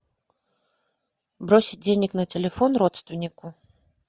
бросить денег на телефон родственнику